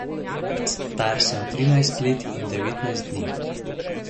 Star sem trinajst let in devetnajst dni.